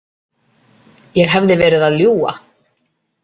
Ég hefði verið að ljúga.